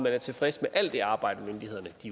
er tilfreds med alt det arbejde myndighederne